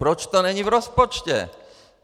Proč to není v rozpočtu?